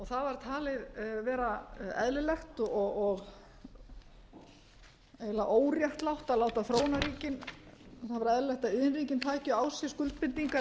það var talið vera eðlilegt og eiginlega óréttlátt að láta þróunarríkin það var eðlilegt að iðnríkin tækju á sig skuldbindingar en